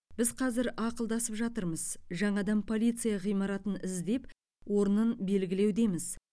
біз қазір ақылдасып жатырмыз жаңадан полиция ғимаратын іздеп орнын белгілеудеміз